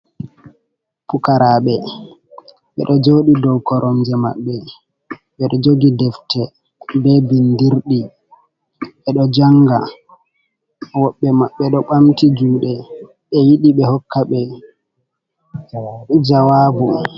Pukaraɓe ɓedo joɗi dow koromje maɓɓe ɓedo jogi defte be bindirɗi, ɓedo janga woɓɓe maɓɓe ɗo ɓamti juɗe ɓe yiɗi ɓe hokka ɓe jawabu.